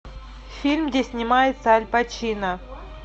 фильм где снимается аль пачино